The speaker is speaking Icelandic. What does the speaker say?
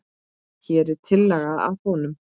Hér er tillaga að honum.